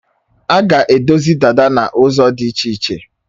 A ga-edozi dada n'ụzọ dị iche iche.